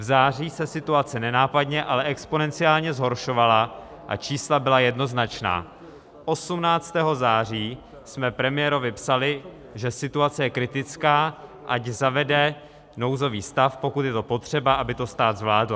V září se situace nenápadně, ale exponenciálně zhoršovala a čísla byla jednoznačná, 18. září jsme premiérovi psali, že situace je kritická, ať zavede nouzový stav, pokud je to potřeba, aby to stát zvládl.